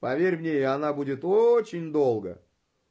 поверь мне и она будет очень долго